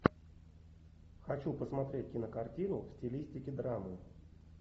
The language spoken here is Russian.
хочу посмотреть кинокартину в стилистике драмы